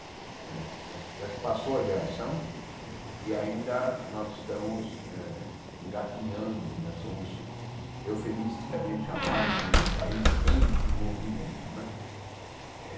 Né já se já se passou a geração e ainda nós estamos eh engatinhando, ainda somos eufemisticamente chamados de país em desenvolvimento né.